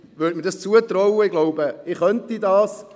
Und, bei Gott, ich glaube, ich könnte das.